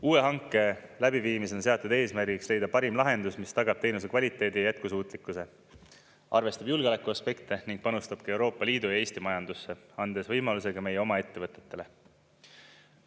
Uue hanke läbiviimisel on seatud eesmärgiks leida parim lahendus, mis tagab teenuse kvaliteedi ja jätkusuutlikkuse, arvestab julgeolekuaspekte ning panustab ka Euroopa Liidu ja Eesti majandusse, andes võimaluse ka meie oma ettevõtetele.